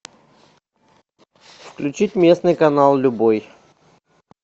включить местный канал любой